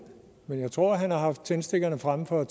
men jeg tror at han har haft tændstikkerne fremme for at